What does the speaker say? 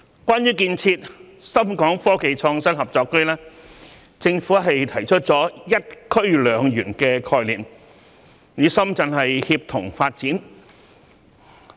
關於建設深港科技創新合作區，政府提出了"一區兩園"的概念，與深圳協同發展。